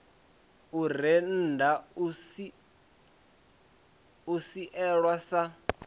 u rennda u sielwa sa